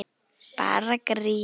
Bara grín!